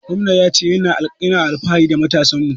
Gwamnan ya ce ya na alfahari da matasan mu